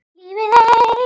Lifið heil!